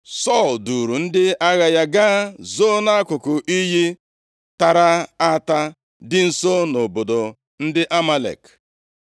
Sọl duuru ndị agha ya gaa zoo nʼakụkụ iyi tara ata dị nso nʼobodo ndị Amalek.